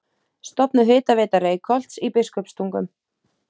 Stofnuð Hitaveita Reykholts í Biskupstungum.